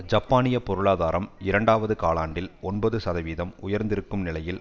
ஜப்பானிய பொருளாதாரம் இரண்டாவது காலாண்டில் ஒன்பது சதவீதம் உயர்ந்திருக்கும் நிலையில்